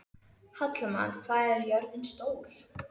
Hallmann, hvað er jörðin stór?